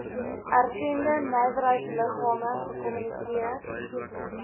erkende nywerheidsliggame gekommunikeer